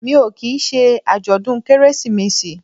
Mi ò kì í ṣe àjọ̀dún Kérésìmesì